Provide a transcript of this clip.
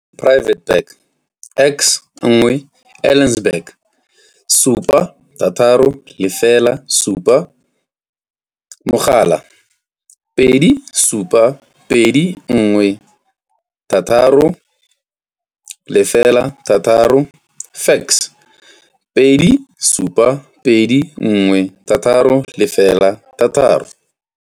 Private Bag X1, Elsenburg, 7607, tel plus 27 21 808, fax plus 27 21 808.